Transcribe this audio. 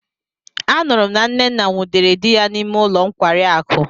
Anuru m na nnenna nwudere di ya n'ime ulo nkwari akụ.